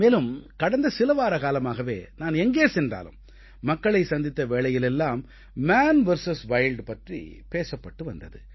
மேலும் கடந்த சில வாரக்காலமாகவே நான் எங்கே சென்றாலும் மக்களை சந்தித்த வேளையிலெல்லாம் மான் விஎஸ் வைல்ட் பற்றிப் பேசப்பட்டு வந்தது